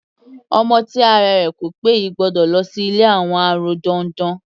Ọmọ tí ara rẹ̀ ko pé yìí gbọ́dọ̀ lọ sí ilé àwọn arọ dandan.